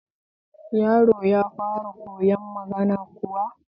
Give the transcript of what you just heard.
Yaron ya fara koyon magana kuwa?